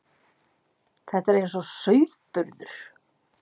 Þetta er eins og sauðburður.